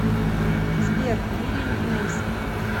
сбер вилли нельсон